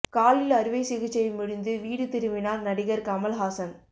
காலில் அறுவைச் சிகிச்சை முடிந்து வீடு திரும்பினார் நடிகர் கமல் ஹாசன்